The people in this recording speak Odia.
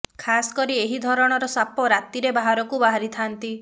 ଖାସ କରି ଏହି ଧରଣର ସାପ ରାତିରେ ବାହାରକୁ ବାହାରିଥାନ୍ତି